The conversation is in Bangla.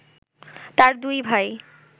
তাঁর দুই ভাই